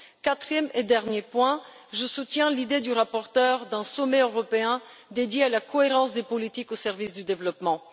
Quatrième et dernier point, je soutiens l'idée du rapporteur d'un sommet européen dédié à la cohérence des politiques au service du développement.